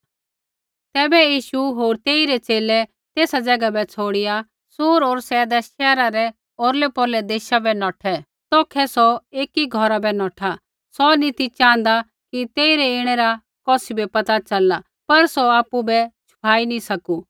तैबै यीशुऐ होर तेइरै च़ेले तेसा ज़ैगा छ़ौड़िआ सूर होर सैदा शैहरा रै औरलैपौरलै देशा बै नौठा तौखै सौ एकी घौरा बै नौठा सौ नी ती च़ाँहदा कि तेइरै ऐणै रा कौसी बै पता च़लला पर सौ आपु बै छुपाई नी सकू